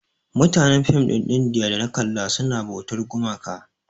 Mutanen film ɗin indiya da na kalla suna bautar gumaka.